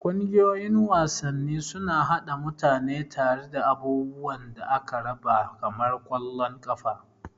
Ƙungiyoyin wasanni suna haɗa mutane tare da abubuwan da aka raba kamar ƙwallon ƙafa.